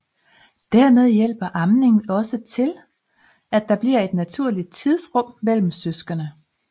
Dermed hjælper amning også til at der bliver et naturligt tidsrum imellem søskende